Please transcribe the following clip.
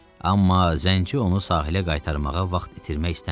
Amma zənci onu sahilə qaytarmağa vaxt itirmək istəmirdi.